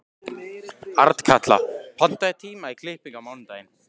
Arnkatla, pantaðu tíma í klippingu á mánudaginn.